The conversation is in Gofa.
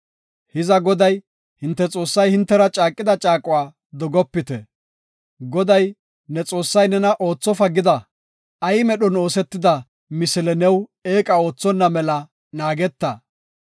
Hiza Goday, hinte Xoossay hintera caaqida caaquwa dogopite. Goday, ne Xoossay nena oothofa gida ay medhon oosetida misile new eeqa oothonna mela naageta.